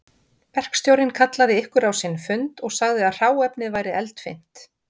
Verkstjórinn kallaði ykkur á sinn fund og sagði að hráefnið væri eldfimt